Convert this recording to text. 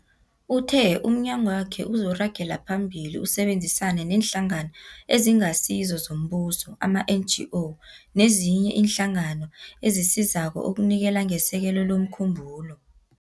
Uthe umnyagwakhe uzoragela phambili usebenzisane neeNhlangano eziNgasizo zoMbuso, ama-NGO, nezinye iinhlangano ezisizako ukunikela ngesekelo lomkhumbulo.